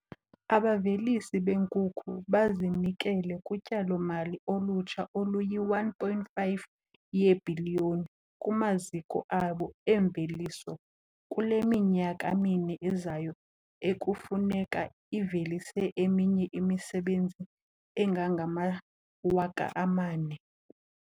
Abavelisi beenkukhu bazinikele kutyalo-mali olutsha oluyi-R1.5 yeebhiliyoni kumaziko abo emveliso kule minyaka mine izayo, ekufuneka ivelise eminye imisebenzi engangama-4 000.